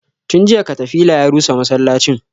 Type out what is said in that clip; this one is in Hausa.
Tun jiya katafila ya rusa masallacin